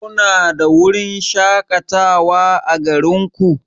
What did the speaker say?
Kuna da wurin shakatawa ã garin ku?